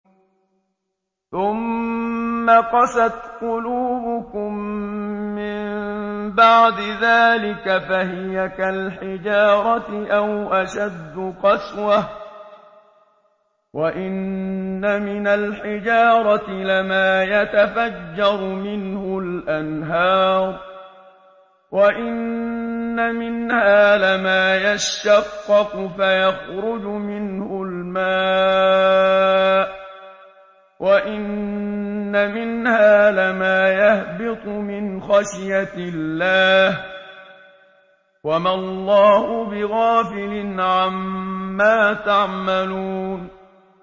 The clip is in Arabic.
ثُمَّ قَسَتْ قُلُوبُكُم مِّن بَعْدِ ذَٰلِكَ فَهِيَ كَالْحِجَارَةِ أَوْ أَشَدُّ قَسْوَةً ۚ وَإِنَّ مِنَ الْحِجَارَةِ لَمَا يَتَفَجَّرُ مِنْهُ الْأَنْهَارُ ۚ وَإِنَّ مِنْهَا لَمَا يَشَّقَّقُ فَيَخْرُجُ مِنْهُ الْمَاءُ ۚ وَإِنَّ مِنْهَا لَمَا يَهْبِطُ مِنْ خَشْيَةِ اللَّهِ ۗ وَمَا اللَّهُ بِغَافِلٍ عَمَّا تَعْمَلُونَ